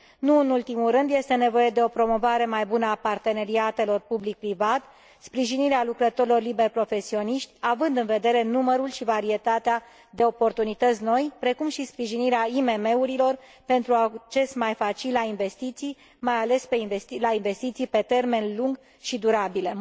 Nu în ultimul rând, este nevoie de o promovare mai bună a parteneriatelor public private, sprijinirea lucrătorilor liber profesioniști, având în vedere numărul și varietatea de oportunități noi, precum și sprijinirea IMM urilor pentru un acces mai facil la investiții, mai ales la investiții pe termen lung și durabile.